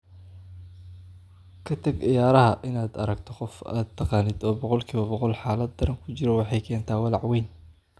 "Ka tag ciyaaraha, in aad aragto qof aad taqaanin oo boqolkiiba boqol xaalad daran ku jiro waxay keentaa walaac weyn."